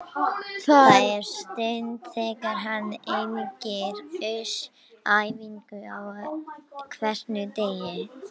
Það er synd þegar hann hengir haus á æfingum á hverjum degi.